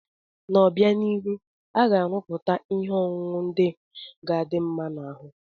N'obianihu, a ga-arụpụtakwu ihe ọṅụṅụ ndị ga-adị mma n'ahụ